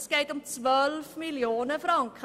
Doch es geht um 12 Mio. Franken!